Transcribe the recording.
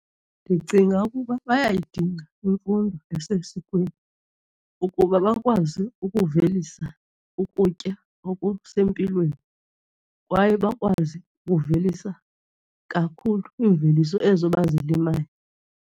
Ndicinga ukuba bayayidinga imfundo esesikweni ukuba bakwazi ukuvelisa ukutya okusempilweni kwaye bakwazi ukuvelisa kakhulu iimveliso ezo abazilimayo.